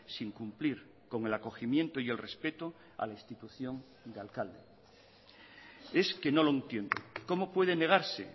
sin cumplir con el acogimiento y el respeto a la institución de alcalde es que no lo entiendo cómo puede negarse